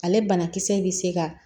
Ale banakisɛ in bɛ se ka